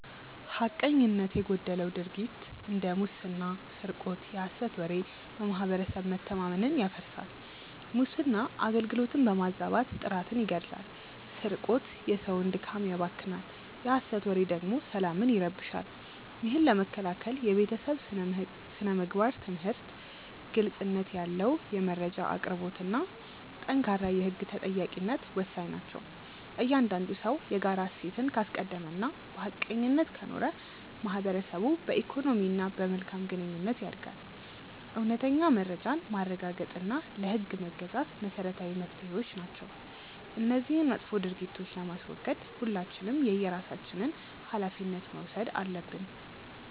ሐቀኝነት የጎደለው ድርጊት እንደ ሙስና ስርቆት የሐሰት ወሬ በማህበረሰብ መተማመንን ያፈርሳል። ሙስና አገልግሎትን በማዛባት ጥራትን ይገድላል ስርቆት የሰውን ድካም ያባክናል የሐሰት ወሬ ደግሞ ሰላምን ይረብሻል። ይህን ለመከላከል የቤተሰብ ስነ-ምግባር ትምህርት፣ ግልጽነት ያለው የመረጃ አቅርቦትና ጠንካራ የህግ ተጠያቂነት ወሳኝ ናቸው። እያንዳንዱ ሰው የጋራ እሴትን ካስቀደመና በሐቀኝነት ከኖረ ማህበረሰቡ በኢኮኖሚና በመልካም ግንኙነት ያድጋል። እውነተኛ መረጃን ማረጋገጥና ለህግ መገዛት መሰረታዊ መፍትሄዎች ናቸው። እነዚህን መጥፎ ድርጊቶች ለማስወገድ ሁላችንም የየራሳችንን ሃላፊነት መውሰድ አለብን።